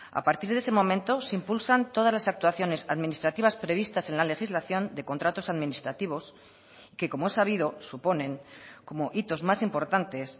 a partir de ese momento se impulsan todas las actuaciones administrativas previstas en la legislación de contratos administrativos que como es sabido suponen como hitos más importantes